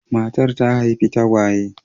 Matar ta haifi tagwaye.